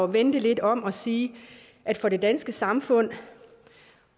vende det lidt om og sige at for det danske samfund